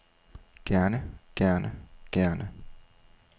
gerne gerne gerne